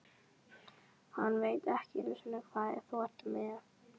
Hann veit ekki einu sinni hvað þú ert með.